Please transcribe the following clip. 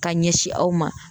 Ka ɲɛsin aw ma